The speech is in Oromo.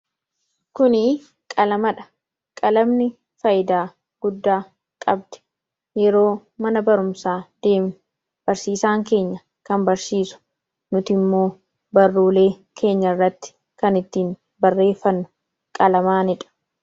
kuni qalamadha qalamni faayyidaa guddaa qabdi yeroo mana barumsaa deemne barsiisaan keenya kan barsiisu nuti immoo barroolee keenya irratti kan ittiin barreeffannu qalamaanidha